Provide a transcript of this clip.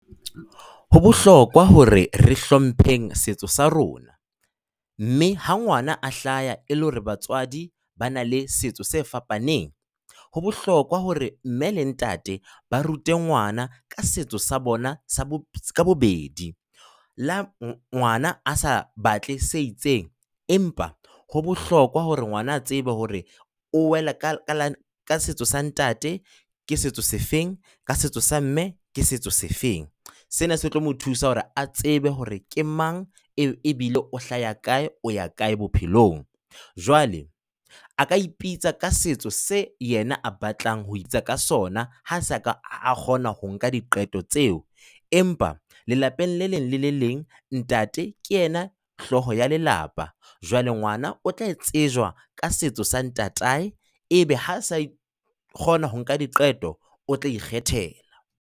Ho bohlokwa hore re hlompheng setso sa rona. Mme ha ngwana a hlaha e le hore batswadi ba na le setso se fapaneng, ho bohlokwa hore mme le ntate ba rute ngwana ka setso sa bona sa ka bobedi, le ha ngwana a sa batle se itseng. Empa ho bohlokwa hore ngwana a tsebe hore o wela ka setso sa ntate, ke setso se feng, ka setso sa mme ke setso se feng. Sena se tlo mo thusa hore a tsebe hore ke mang e bile o hlaha kae, o ya kae bophelong. Jwale a ka ipitsa ka setso se yena a batlang ho ipitsa ka sona ha a se ka a kgona ho nka diqeto tseo, empa lelapeng le leng le le leng ntate ke yena hlooho ya lelapa. Jwale ngwana o tla e tsejwa ka setso sa ntatae ebe ha sa kgona ho nka diqeto o tla ikgethela.